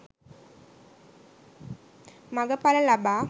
මඟ ඵල ලබා